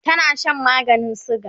tana Shan maganin suga